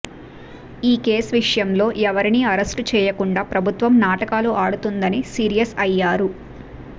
ఈ కేసు విషయంలో ఎవరిని అరెస్టు చేయకుండా ప్రభుత్వం నాటకాలు ఆడుతుందని సీరియస్ అయ్యారు